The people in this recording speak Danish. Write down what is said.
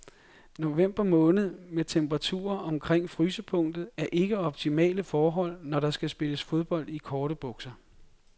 November måned med temperaturer omkring frysepunktet er ikke optimale forhold, når der skal spilles fodbold i korte bukser.